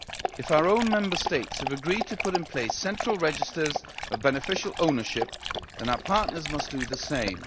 If our own Member States have agreed to put in place central registers of beneficial ownership, then our partners must do the same.